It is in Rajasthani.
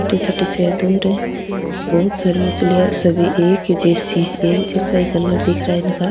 बहुत सारी मछलिया है सभी एक ही जैसी है एक जैसा ही कलर दिख रा है इनका।